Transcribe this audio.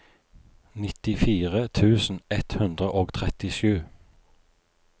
nittifire tusen ett hundre og trettisju